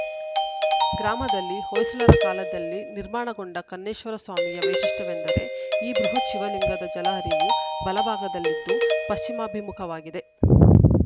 ಗ್ರಾಮದಲ್ಲಿ ಹೊಯ್ಸಳರ ಕಾಲದಲ್ಲಿ ನಿರ್ಮಾಣಗೊಂಡ ಕನ್ನೇಶ್ವರ ಸ್ವಾಮಿಯ ವೈಶಿಷ್ಟ್ಯವೆಂದರೆ ಈ ಬೃಹತ್‌ ಶಿವಲಿಂಗದ ಜಲ ಹರಿವು ಬಲಭಾಗದಲ್ಲಿದ್ದು ಪಶ್ಚಿಮಾಭಿಮುಖವಾಗಿದೆ